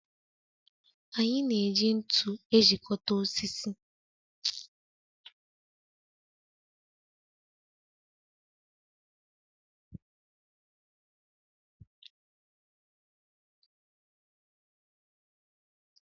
Anyị na-eji ntụ ejikọta osisi.